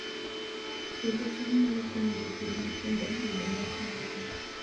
Puodho cham nyalo konyo jopur matindo yudo nyak mang'eny